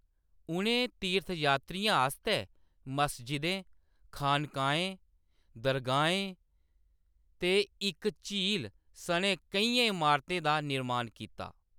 उʼनें तीर्थयात्रियें आस्तै मस्जिदें, खानकाहें, दरगाहें ते इक झील सनै केइयें इमारतें दा निर्माण कीता।